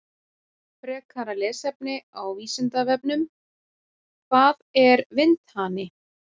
Frekara lesefni á Vísindavefnum: Hvað er vindhani?